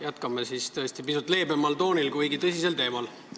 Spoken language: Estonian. Jätkame tõesti pisut leebemal toonil, kuigi tõsisel teemal.